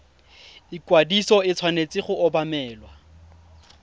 ikwadiso e tshwanetse go obamelwa